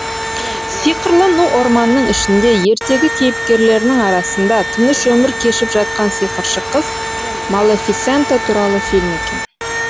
сиқырлы ну орманның ішінде ертегі кейіпкерлерінің арасында тыныш өмір кешіп жатқан сиқыршы қыз малефисента туралы фильм екен